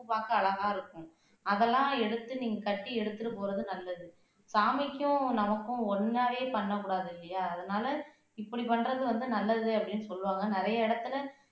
பூ பார்க்க அழகா இருக்கும் அதெல்லாம் எடுத்து நீங்க கட்டி எடுத்துட்டு போறது நல்லது சாமிக்கும் நமக்கும் ஒன்னாவே பண்ணக் கூடாது இல்லையா அதனால இப்படி பண்றது வந்து நல்லது அப்படின்னு சொல்லுவாங்க நிறைய இடத்துல